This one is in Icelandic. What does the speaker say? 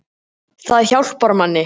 Það hjálpar manni